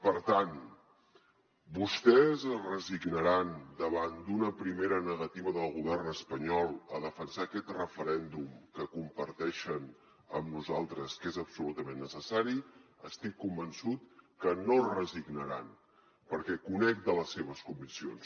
per tant vostès es resignaran davant d’una primera negativa del govern espanyol a defensar aquest referèndum que comparteixen amb nosaltres que és absolutament necessari estic convençut que no es resignaran perquè conec de les seves conviccions